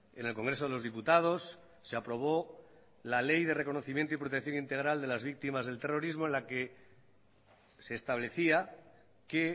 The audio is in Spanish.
en el congreso de los diputados se aprobó la ley de reconocimiento y protección integral de las víctimas del terrorismo en la que se establecía que